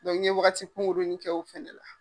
ne ye wagati kunkurunin kɛ o fɛnɛ la.